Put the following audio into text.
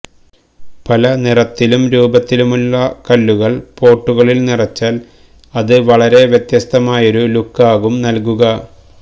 പല നിറത്തിലും രൂപത്തിലുമുള്ള കല്ലുകള് പോട്ടുകളില് നിറച്ചാല് അത് വളരെ വ്യത്യസ്തമായൊരു ലുക്കാവും നല്കുക